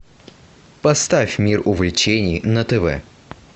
поставь мир увлечений на тв